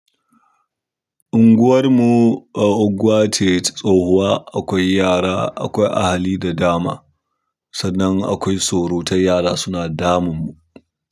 Unguwar mu a unguwa ce tsohuwa, akwai yara, akwai a hali da dama, sannan akwai surutai yara suna damun mu.